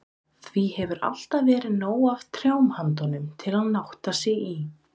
Því hefur alltaf verið nóg af trjám handa honum, til að nátta sig í.